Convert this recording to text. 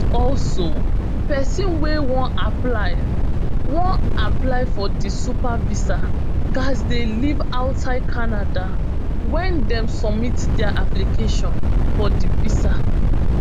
also pesin wey wan apply wan apply for di super visa gatz dey live outside canada wen dem submit dia application for di visa